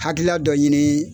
Hakilila dɔ ɲini